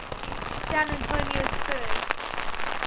san antonio spurs